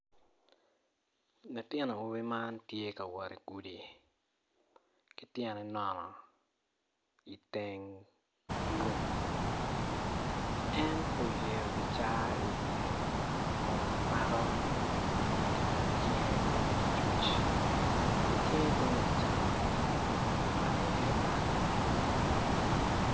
Latin awobi man tye ka wot igudi ki tyene nono iteng lum en oyeyo kicaa iwiye Kun mako ki cinge tung lacuc icinge tung lacam omako iye panga.